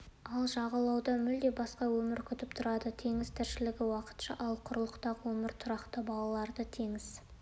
ал жағалауда мүлде басқа өмір күтіп тұрады теңіз тіршілігі уақытша ал құрылықтағы өмір тұрақты балаларды теңіз